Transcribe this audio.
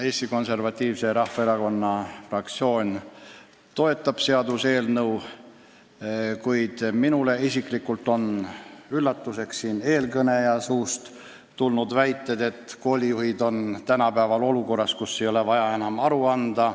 Eesti Konservatiivse Rahvaerakonna fraktsioon toetab seda seaduseelnõu, kuid mind isiklikult üllatas eelkõneleja väide, et koolijuhid on tänapäeval olukorras, kus ei ole vaja enam aru anda.